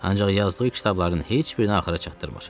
Ancaq yazdığı kitabların heç birini axıra çatdırmır.